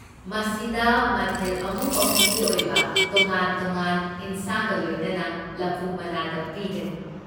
ꯃꯁꯤꯗ ꯃꯊꯦꯜ ꯑꯍꯨꯝ ꯑꯍꯨꯝꯒꯤ ꯑꯣꯏꯕ ꯇꯣꯉꯥꯟ ꯇꯣꯉꯥꯟ ꯏꯟꯁꯥꯡꯒ ꯂꯣꯏꯅꯅ ꯂꯐꯨ ꯃꯅꯥꯗ ꯄꯤꯒꯅꯤ꯫